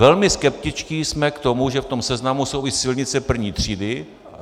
Velmi skeptičtí jsme k tomu, že v tom seznamu jsou i silnice první třídy.